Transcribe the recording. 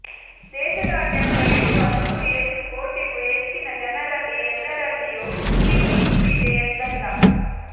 ದೇಶದಾದ್ಯಂತ ಇರುವ ನೂರು ಹೆಚ್ಚು ಕೋಟಿಗೂ ಹೆಚ್ಚಿನ ಜನರಲ್ಲಿ ಎಲ್ಲರಲ್ಲಿಯೂ ಈ ಕಿಚ್ಚು ಇದೆ ಎಂದಲ್ಲ